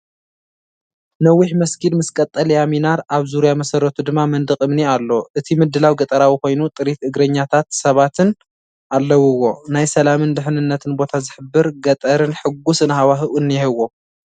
ነዊሕ መስጊድ ምስ ቀጠልያ ሚናር ፣ኣብ ዙርያ መሰረቱ ድማ መንደቕ እምኒ ኣሎ። እቲ ምድላው ገጠራዊ ኮይኑ፡ ጥሪት እግረኛታት ሰባትን ኣለዉዎ። ናይ ሰላምን ድሕነትን ቦታ ዝሕብር ገጠርን ሕጉስን ሃዋህው አኒሄዎ።